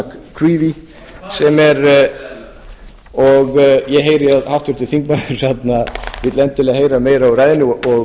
charles á og ég heyri að háttvirtur þingmaður vill endilega heyra meira úr ræðunni og